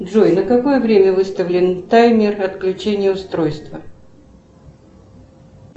джой на какое время выставлен таймер отключения устройства